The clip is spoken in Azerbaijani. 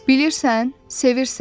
Bilirsən, sevirsən?